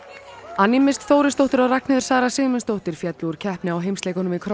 annie Mist Þórisdóttir og Ragnheiður Sara Sigmundsdóttir féllu úr keppni á heimsleikunum í